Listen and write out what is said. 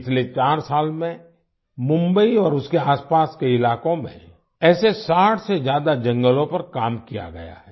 पिछले चार साल में मुंबई और उसके आसपास के इलाकों में ऐसे 60 से ज्यादा जंगलों पर काम किया गया है